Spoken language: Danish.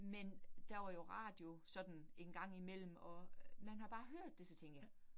Men der var jo radio sådan en gang imellem, og man har bare hørt det, så tænker jeg